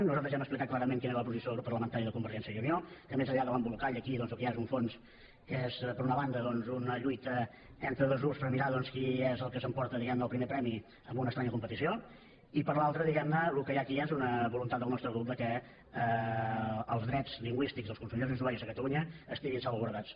nosaltres ja hem explicat clarament quina era la posició del grup parlamentari de convergència i unió que més enllà de l’embolcall aquí el que hi ha és un fons que és per una banda una lluita entre dos grups per mirar doncs qui és el que s’emporta diguem ne el primer premi en una estranya competició i per l’altra el que hi ha aquí és una voluntat del nostre grup que els drets lingüístics dels consumidors i usuaris a catalunya estiguin salvaguardats